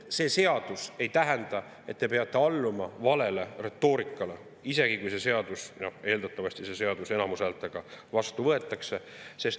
See seadus ei tähenda, et te peate alluma valele retoorikale, isegi kui see seadus, eeldatavasti enamushäältega, vastu võetakse.